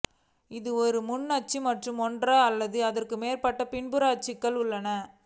இது ஒரு முன் அச்சு மற்றும் ஒன்று அல்லது அதற்கு மேற்பட்ட பின்புற அச்சுகள் உள்ளன